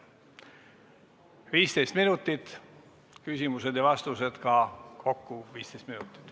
Kõne 15 minutit, küsimused ja vastused ka kokku 15 minutit.